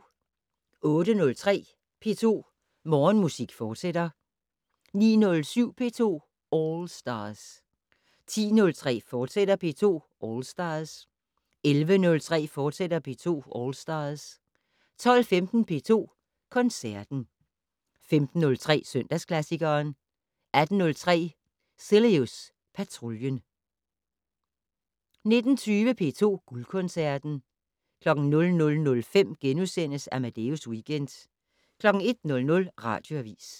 08:03: P2 Morgenmusik, fortsat 09:07: P2 All Stars 10:03: P2 All Stars, fortsat 11:03: P2 All Stars, fortsat 12:15: P2 Koncerten 15:03: Søndagsklassikeren 18:03: Cilius Patruljen 19:20: P2 Guldkoncerten 00:05: Amadeus Weekend * 01:00: Radioavis